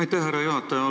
Aitäh, härra juhataja!